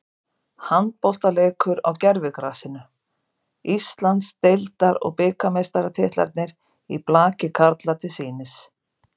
Handboltaleikur á gervigrasinu, Íslands- deildar og bikarmeistaratitlarnir í blaki karla til sýnis.